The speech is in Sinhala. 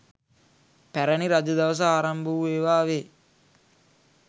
පැරැණි රජ දවස ආරම්භ වූ ඒවා වේ.